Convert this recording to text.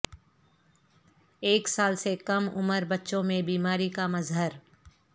ایک سال سے کم عمر بچوں میں بیماری کا مظہر